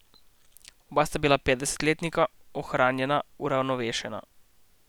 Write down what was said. Oba sta bila petdesetletnika, ohranjena, uravnovešena.